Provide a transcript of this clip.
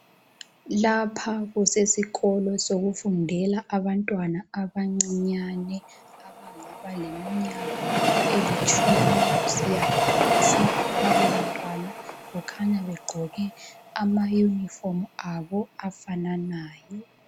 Lpha kusesikolo sokufundela abantwana abancinyane abangaba leminyaka elitshumi kusiya phansi labo bantwana kukhanya begqoke amayunifomu abo afananayo.